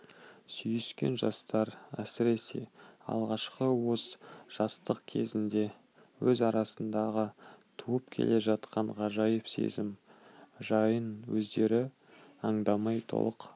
сүйіскен жастар әсіресе алғашқы уыз жастық кезінде өз арасындағы туып келе жатқан ғажайып сезім жайын өздері аңдамай толық